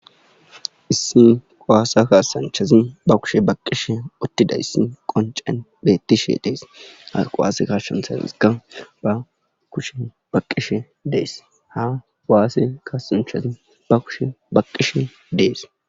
issi qawaasa kaasanchazin ba kushe baqqishe uttida issi qoncen bettishe dees harqowaase kashshan saazika ba kushe baqqishe dees ha waasse kaasanchazin ba kushe baqqishe dees